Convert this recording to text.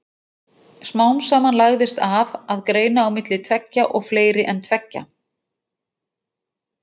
Smám saman lagðist af að greina á milli tveggja og fleiri en tveggja.